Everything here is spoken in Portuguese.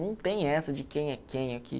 Não tem essa de quem é quem aqui.